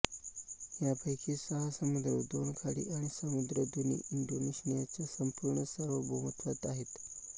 यांपैकी सहा समुद्र दोन खाडी आणि सामुद्रधुनी इंडोनेशियाच्या संपूर्ण सार्वभौमत्वात आहेत